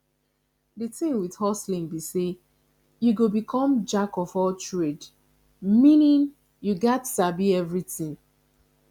the thing with hustling be say you go become jack of all trade meaning you gats sabi everything